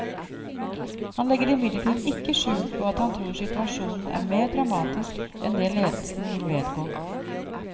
Han legger imidlertid ikke skjul på at han tror situasjonen er mer dramatisk enn det ledelsen vil vedgå.